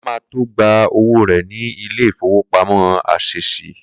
Kola ma tó gba owó rẹ̀ ní ilé ìfowópamọ́ Ásẹ̀sì